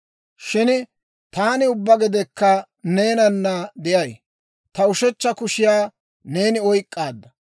Shin taani ubbaa gedekka neenana de'ay; ta ushechcha kushiyaa neeni oyk'k'aadda.